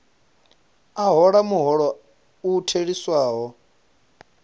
a hola muholo u theliswaho